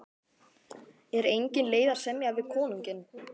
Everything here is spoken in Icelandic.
Er engin leið að semja við konunginn?